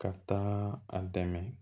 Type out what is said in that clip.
Ka taa a dɛmɛ